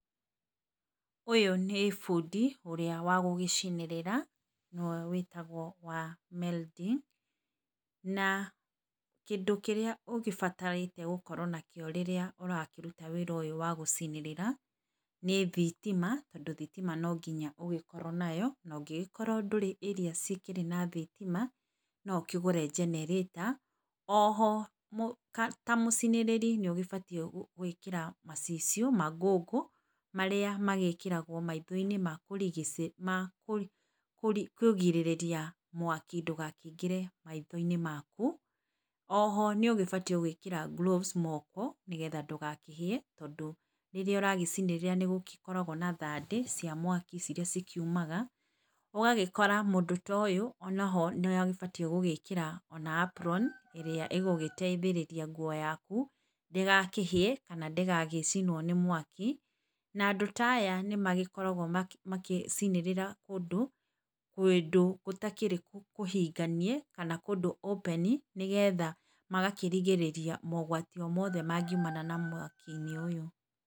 Ũyũ nĩ bundi ũrĩa wagũgĩcinĩrĩra, nĩwe wĩtagwo wa welding, na kĩndũ kĩrĩa ũgĩbataranĩtiĩ gũkorwo nakĩo rĩrĩa ũrakĩruta wĩra ũyũ wa gũcinĩrĩra. Nĩ thitima tondũ thitima nonginya ũgĩkorwo nayo, na ũngĩgĩkorwo ndũrĩ area citarĩ na thitima no ũkĩgũre generator oho, ta mũcinĩrĩri nĩ ũbatiĩ gwĩkĩra macicio ma ngũngũ marĩa magĩkĩragwo maitho -inĩ makũrigicĩ makĩrigĩrĩria mwaki ndũgakĩingere maitho -inĩ maku. Oho nĩũgĩbatiĩ gwĩkĩra gloves moko nĩgetha ndũgakĩhĩe tondũ rĩrĩa ũragĩcinĩrĩra nĩgũkoragwo na thandĩ cia mwaki irĩa cikiumaga ũgagĩkora mũndũ ta ũyũ nĩ agĩbatiĩ gũgĩkĩra ona apron ĩgũgĩteithĩrĩria nguo yaku ndĩgakĩhĩe kana ndĩgagĩcinwo nĩ mwaki na andũ taya nĩ magĩkoragwo magĩcinĩrĩra kũndũ gũtakĩrĩ kũhinganie kana kũndũ open, nĩgetha magakĩrigĩrĩria mogwati mothe mangiumana mothe mangiumana na mwaki -inĩ ũyũ.